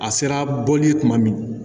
A sera bɔli ye kuma min